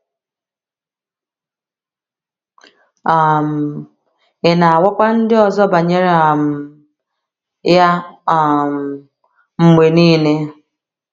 um Ị̀ na - agwakwa ndị ọzọ banyere um ya um mgbe nile?